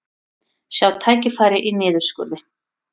Sjá tækifæri í niðurskurði